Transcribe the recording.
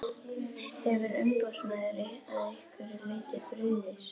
Hefur umboðsmaður að einhverju leyti brugðist?